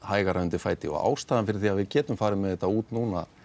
hægara undir fæti og ástæðan fyrir því að við getum farið með þetta út núna